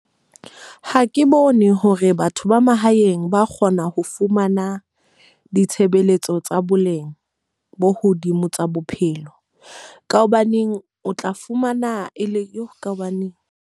Ha ke bone hore batho ba mahaeng ba kgona ho fumana ditshebeletso tsa boleng bo hodimo tsa bophelo. Ka hobaneng o tla fumana e le eo ka hobaneng.